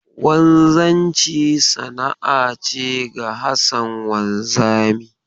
Wanzanci sana'a ce ga Hassan wanzami.